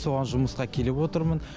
соған жұмысқа келіп отырмын